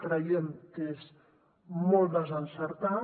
creiem que és molt desencertat